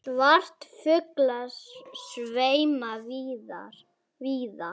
Svartir fuglar sveima víða.